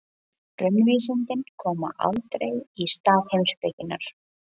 Raunvísindin koma aldrei í stað heimspekinnar.